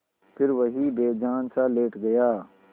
फिर वहीं बेजानसा लेट गया